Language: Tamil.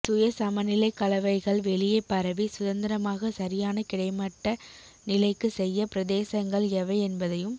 சுய சமநிலை கலவைகள் வெளியே பரவி சுதந்திரமாக சரியான கிடைமட்ட நிலைக்கு செய்ய பிரதேசங்கள் எவை என்பதையும்